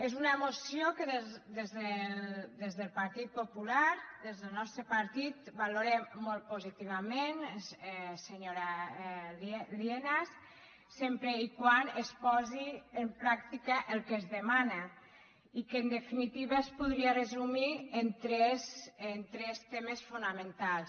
és una moció que des del partit popular des del nostre partit valorem molt positivament senyora lienas sempre que es posi en pràctica el que es demana i que en definitiva es podria resumir en tres temes fonamentals